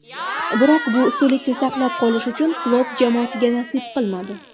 Biroq bu ustunlikni saqlab qolish Klopp jamoasiga nasib qilmadi.